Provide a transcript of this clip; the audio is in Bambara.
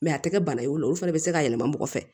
a tɛ kɛ bana ye o la olu fana bɛ se ka yɛlɛma mɔgɔ fɛ